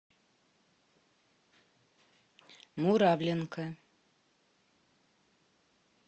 муравленко